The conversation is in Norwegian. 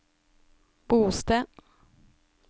bosted